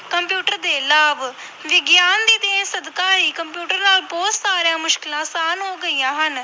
Computer ਦੇ ਲਾਭ, ਵਿਗਿਆਨ ਦੀ ਦੇਣ ਸਦਕਾ ਹੀ ਕੰਪਿਊਟਰ ਨਾਲ ਬਹੁਤ ਸਾਰੀਆਂ ਮੁਸ਼ਕਲਾਂ ਆਸਾਨ ਹੋ ਗਈਆਂ ਹਨ।